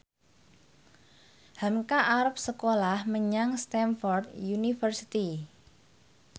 hamka arep sekolah menyang Stamford University